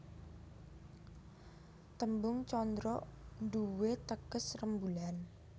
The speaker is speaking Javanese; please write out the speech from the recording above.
Tembung candra nduwé teges rembulan